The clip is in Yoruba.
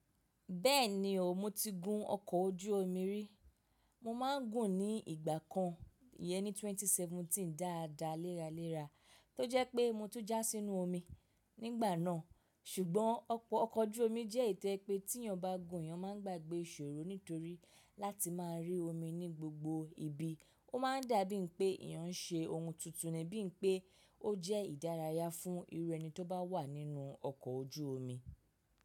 Bẹ́ẹ̀ni o, mo ti gun ọkọ̀ ojú omi rí. Mo máa n gùn ní ìgbà kan yẹn ní 2017 dáadáa léraléra tó jẹ́ pé mo tún jà sínú omi nígbà náà. Ṣùgbọ́n ọkọ̀ ojú omi jẹ́ ìtẹ́ pé tí ẹnia bá gùn, ẹnia máa ń gbàgbé ìṣòro nítorí láti máa rí omi ní gbogbo ibi. Ó máa ń dà bí i pé ẹ̀yàn ń ṣe ohun tuntun ní bí i pé ó jẹ́ ìdárayá fún irú ẹni tó bá wà nínú ọkọ̀ ojú omi.